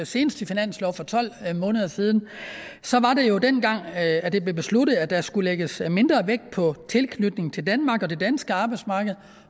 seneste finanslov for tolv måneder siden så var det jo dengang at det blev besluttet at der skulle lægges mindre vægt på tilknytning til danmark og det danske arbejdsmarked